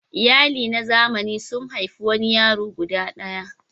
Iyali na zamani sun haifi wani yaro guda ɗaya.